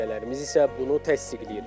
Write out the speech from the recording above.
Müşahidələrimiz isə bunu təsdiqləyir.